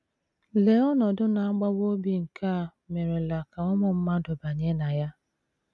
Lee ọnọdụ na - agbawa obi nke a merela ka ụmụ mmadụ banye na ya!